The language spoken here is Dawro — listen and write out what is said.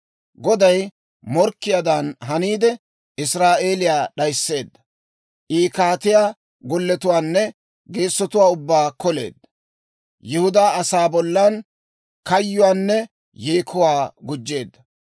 Goday morkkiyaadan haniide, Israa'eeliyaa d'ayisseedda. I kaatiyaa golletuwaanne geessotuwaa ubbaa koleedda. Yihudaa asaa bollan kayyuwaanne yeekuwaa gujjeedda.